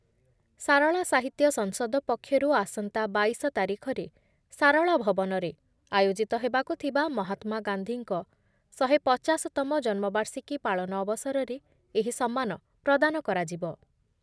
ସାରଳା ସାହିତ୍ୟ ସଂସଦ ପକ୍ଷରୁ ଆସନ୍ତା ବାଇଶ ତାରିଖରେ ସାରଳା ଭବନରେ ଆୟୋଜିତ ହେବାକୁ ଥିବା ମହାତ୍ମାଗାନ୍ଧୀଙ୍କ ଶହେ ପଚାଶ ତମ ଜନ୍ମବାର୍ଷିକୀ ପାଳନ ଅବସରରେ ଏହି ସମ୍ମାନ ପ୍ରଦାନ କରାଯିବ ।